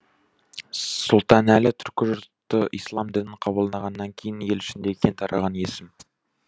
сұлтанәлі түркі жұрты ислам дінін қабылдағаннан кейін ел ішінде кең тараған есім